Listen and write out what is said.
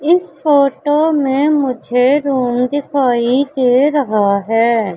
इस फोटो में मुझे रूम दिखाई दे रहा है।